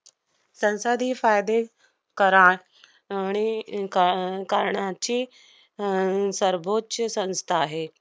संसादी फायदे करा~ आणि अह क~ करणाची अह सर्वोच्च संस्था आहे.